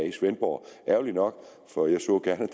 i svendborg ærgerligt nok for jeg så gerne